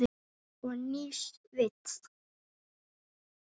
Og nýs vits.